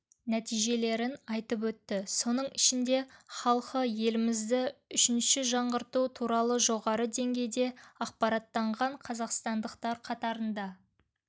нәтижелерін айтып өтті соның ішінде халқы елімізді үшінші жаңғырту туралы жоғары деңгейде ақпараттанған қазақстандықтар қатарында